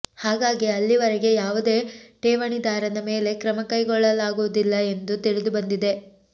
ಹಾಗಾಗಿ ಅಲ್ಲಿವರೆಗೆ ಯಾವುದೇ ಠೇವಣಿದಾರನ ಮೇಲೆ ಕ್ರಮ ಕೈಗೊಳ್ಳಲಾಗುವುದಿಲ್ಲ ಎಂದು ತಿಳಿದುಬಂದಿದೆ